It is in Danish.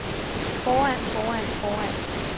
foran foran foran